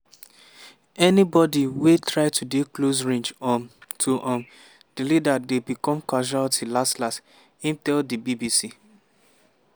anybodi wey try to dey close range um to um di leader dey become casualty last last" im tell di bbc.